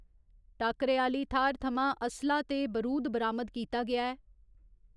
टाक्करे आह्‌ली थाह्‌र थमां असला ते बरूद बरामद कीता गेआ ऐ।